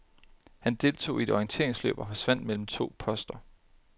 Han deltog i et orienteringsløb og forsvandt mellem to poster.